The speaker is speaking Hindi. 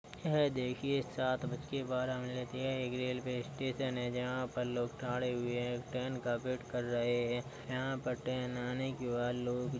यह देखिये सात बज के बारह मिनट यह एक रेलवे स्टेशन है जहाँ पर लोग हुए हैं ट्रेन का वेट कर रहे हैं। यहाँ पर ट्रेन आने के बाद लोग--